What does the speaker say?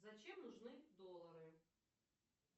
зачем нужны доллары